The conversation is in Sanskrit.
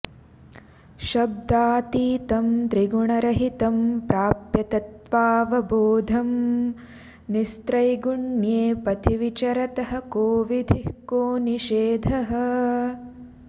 शब्दातीतं त्रिगुणरहितं प्राप्य तत्त्वावबोधं निस्त्रैगुण्ये पथिविचरतः कोविधिः कोनिषेधः